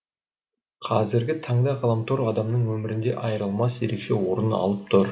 қазіргі таңда ғаламтор адамның өмірінде айырылмас ерекше орын алып тұр